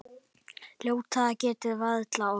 Hvert tilvik er metið.